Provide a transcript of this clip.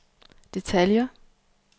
detaljer